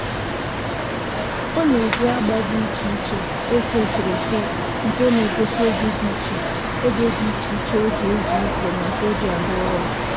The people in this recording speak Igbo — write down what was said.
Ọ na-eji agba dị iche iche ese eserese nke na-egosi oge dị iche oge dị iche iche o ji ezu ike na nke o ji arụ ọrụ